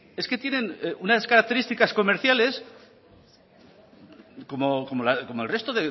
es que tienen unas características comerciales como el resto